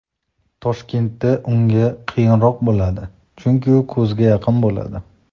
Toshkentda unga qiyinroq bo‘ladi, chunki u ko‘zga yaqin bo‘ladi.